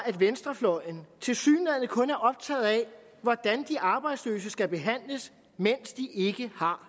at venstrefløjen tilsyneladende kun er optaget af hvordan de arbejdsløse skal behandles mens de ikke har